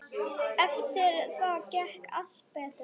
Eftir það gekk allt betur.